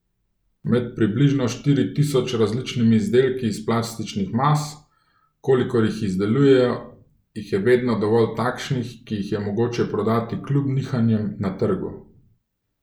Med približno štiri tisoč različnimi izdelki iz plastičnih mas, kolikor jih izdelujejo, jih je vedno dovolj takšnih, ki jih je mogoče prodajati kljub nihanjem na trgu.